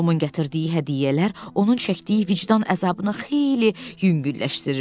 Tomun gətirdiyi hədiyyələr onun çəkdiyi vicdan əzabını xeyli yüngülləşdirirdi.